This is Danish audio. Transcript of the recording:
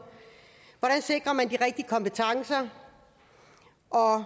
hvordan sikrer man de rigtige kompetencer og